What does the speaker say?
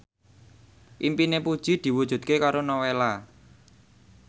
impine Puji diwujudke karo Nowela